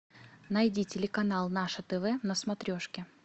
найди телеканал наше тв на смотрешке